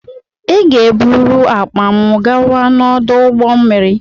Ị ga-eburu akpa m gawa n'ọdụ ụgbọ mmiri!